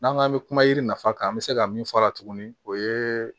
N'an k'an bɛ kuma yiri nafa kan an bɛ se ka min fɔ a la tuguni o ye